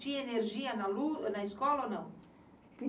Tinha energia na escola ou não?